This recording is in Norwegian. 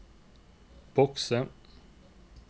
bokse